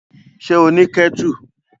Ṣé ó ní kẹ́tù?